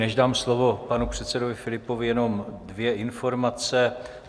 Než dám slovo panu předsedovi Filipovi, jenom dvě informace.